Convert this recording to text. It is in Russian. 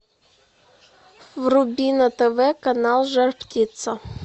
вруби на тв канал жар птица